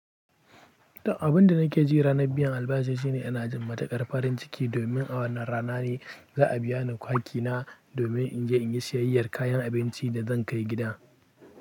Abin da nake ji ranar biyan albashi shine ana jin matukar farin ciki domin a wannan rana ne za a biya ni kwaki na domin in je in yi siyayyar kayan abinci da zan kai gida.